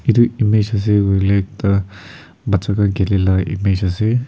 edu image ase kuilae tu bacha toh khilae la image ase edu toh.